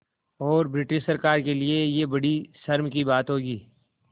और ब्रिटिश सरकार के लिये यह बड़ी शर्म की बात होगी